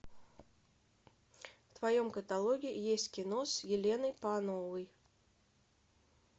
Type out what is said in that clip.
в твоем каталоге есть кино с еленой пановой